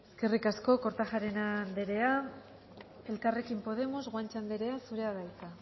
eskerrik asko kortajarena anderea elkarrekin podemos guanche anderea zurea da hitza